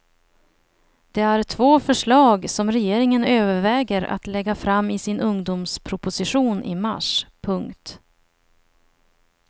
Det är två förslag som regeringen överväger att lägga fram i sin ungdomsproposition i mars. punkt